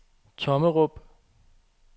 Tommerup